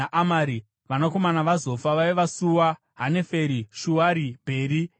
Vanakomana vaZofa vaiva: Sua, Haneferi, Shuari, Bheri, Imira,